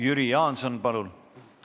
Jüri Jaanson, palun!